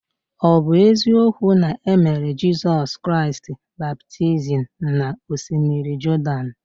Ọ̀ bụ eziokwu na e mere Jizọs Kraịst baptizim n’Osimiri Jọdan?